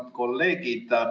Head kolleegid!